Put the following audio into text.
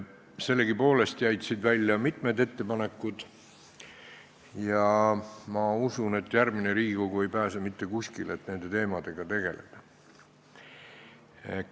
Sellegipoolest jäid siit välja mitmed ettepanekud ja ma usun, et järgmine Riigikogu ei pääse mitte kuskile nende teemadega tegelemisest.